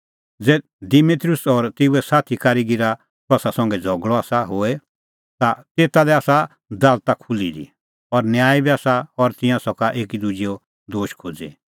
ज़ै दिमेत्रियुस और तेऊए साथी कारीगीरा कसा संघै झ़गल़अ आसा होए ता तेता लै आसा दालता खुल्ही दी और न्यायी बी आसा और तिंयां सका एकी दुजैओ दोश खोज़ी